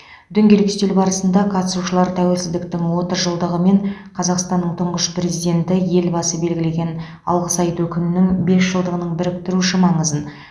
дөңгелек үстел барысында қатысушылар тәуелсіздіктің отыз жылдығы мен қазақстанның тұңғыш президенті елбасы белгілеген алғыс айту күнінің бес жылдығының біріктіруші маңызын